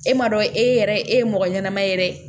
E ma dɔn e yɛrɛ e ye mɔgɔ ɲɛnama ye dɛ